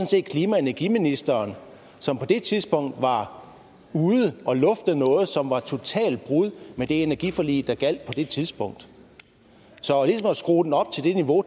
set klima og energiministeren som på det tidspunkt var ude at lufte noget som var et totalt brud med det energiforlig der gjaldt på det tidspunkt så at skrue det op til det niveau